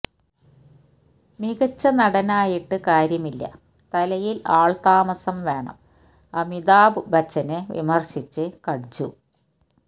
മികച്ച നടനായിട്ട് കാര്യമില്ല തലയില് ആള്താമസം വേണം അമിതാഭ് ബച്ചനെ വിമര്ശിച്ച് കട്ജു